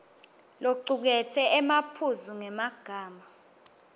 locuketse emaphuzu ngemagama